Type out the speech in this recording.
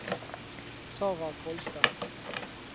Sarah Kolstad